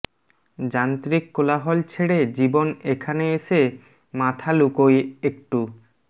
যান্ত্রিক কোলাহল ছেড়ে জীবন এখানে এসে মাথা লুকোয় একটু